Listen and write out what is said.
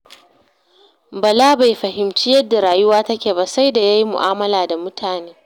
Bala bai fahimci yadda rayuwa take ba sai da ya yi mu'amala da mutane.